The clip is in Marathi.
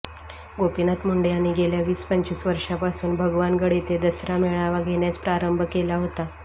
गोपीनाथ मुंडे यांनी गेल्या वीस पंचवीस वर्षांपासून भगवानगड येथे दसरा मेळावा घेण्यास प्रारंभ केला होता